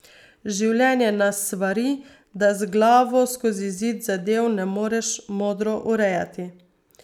Življenje nas svari, da z glavo skozi zid zadev ne moreš modro urejati.